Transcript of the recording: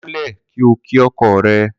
Kúnlè̩ kí o kí o̩ko̩ re̩!